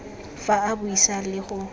fa a buisa le go